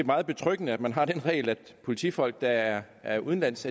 meget betryggende at man har den regel at politifolk der er er udenlands